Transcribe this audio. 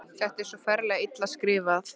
Þetta er svo ferlega illa skrifað!